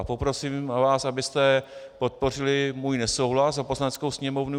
A poprosím vás, abyste podpořili můj nesouhlas za Poslaneckou sněmovnu.